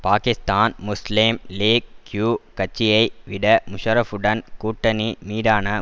Pakistan Muslim League Q கட்சியை விட முஷரஃப்புடனான கூட்டனி மீதான